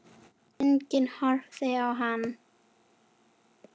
Enginn horfir á hana.